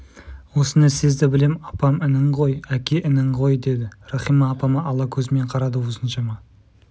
осыны сезді білем апам інің ғой әке інің ғой деді рахима апама ала көзімен қарады осыншама